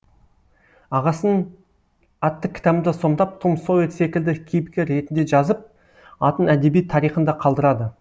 ағасын атты кітабында сомдап том сойер секілді кейіпкер ретінді жазып атын әдебиет тарихында қалдырады